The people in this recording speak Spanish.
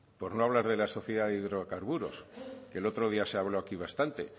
por no hablar de la sociedad de hidrocarburos que el otro día se habló aquí bastante